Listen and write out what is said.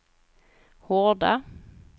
Horda